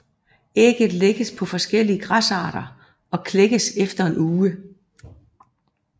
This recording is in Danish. Ægget lægges på forskellige græsarter og det klækkes efter en uge